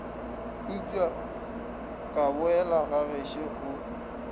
upša ka boela gagešo o